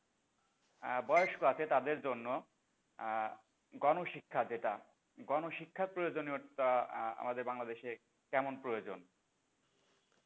আহ বয়স্ক আছে তাদের জন্য আহ গণশিক্ষা যেটা গণশিক্ষার প্রয়োজনীয়তা আহ আমাদের বাংলাদেশে কেমন প্রয়োজন?